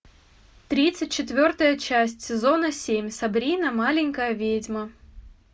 тридцать четвертая часть сезона семь сабрина маленькая ведьма